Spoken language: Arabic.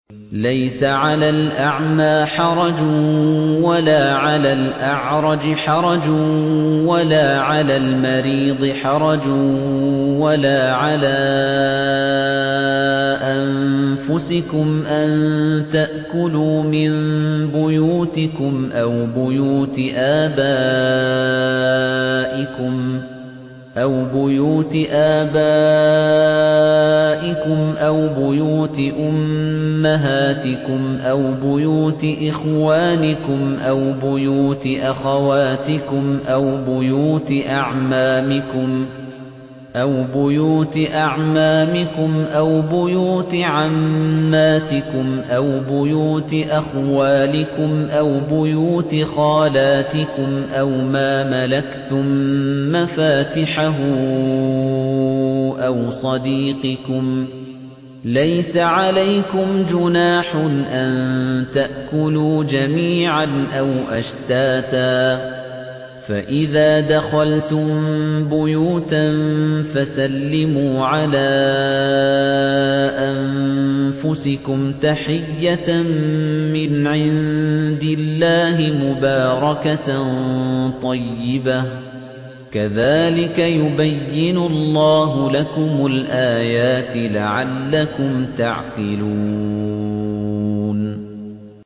لَّيْسَ عَلَى الْأَعْمَىٰ حَرَجٌ وَلَا عَلَى الْأَعْرَجِ حَرَجٌ وَلَا عَلَى الْمَرِيضِ حَرَجٌ وَلَا عَلَىٰ أَنفُسِكُمْ أَن تَأْكُلُوا مِن بُيُوتِكُمْ أَوْ بُيُوتِ آبَائِكُمْ أَوْ بُيُوتِ أُمَّهَاتِكُمْ أَوْ بُيُوتِ إِخْوَانِكُمْ أَوْ بُيُوتِ أَخَوَاتِكُمْ أَوْ بُيُوتِ أَعْمَامِكُمْ أَوْ بُيُوتِ عَمَّاتِكُمْ أَوْ بُيُوتِ أَخْوَالِكُمْ أَوْ بُيُوتِ خَالَاتِكُمْ أَوْ مَا مَلَكْتُم مَّفَاتِحَهُ أَوْ صَدِيقِكُمْ ۚ لَيْسَ عَلَيْكُمْ جُنَاحٌ أَن تَأْكُلُوا جَمِيعًا أَوْ أَشْتَاتًا ۚ فَإِذَا دَخَلْتُم بُيُوتًا فَسَلِّمُوا عَلَىٰ أَنفُسِكُمْ تَحِيَّةً مِّنْ عِندِ اللَّهِ مُبَارَكَةً طَيِّبَةً ۚ كَذَٰلِكَ يُبَيِّنُ اللَّهُ لَكُمُ الْآيَاتِ لَعَلَّكُمْ تَعْقِلُونَ